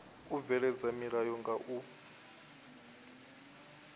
u bveledza milayo nga u